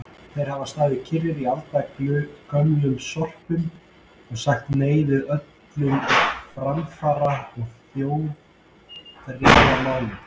Þeir hafa staðið kyrrir í aldagömlum sporum og sagt nei við öllum framfara- og þjóðþrifamálum.